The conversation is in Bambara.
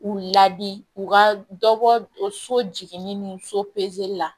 U ladi u ka dɔ bɔ so jiginni ni so pezeli la